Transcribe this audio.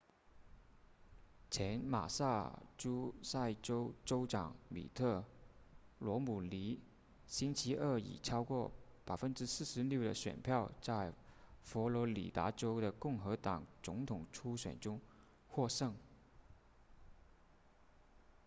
前马萨诸塞州州长米特罗姆尼星期二以超过 46% 的选票在佛罗里达州的共和党总统初选中获胜